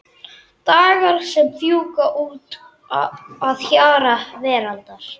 Dagar sem fjúka út að hjara veraldar.